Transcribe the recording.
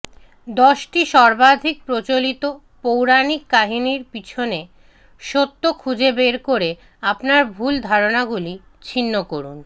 দশটি সর্বাধিক প্রচলিত পৌরাণিক কাহিনীর পিছনে সত্য খুঁজে বের করে আপনার ভুল ধারণাগুলি ছিন্ন করুন